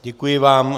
Děkuji vám.